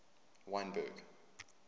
wynberg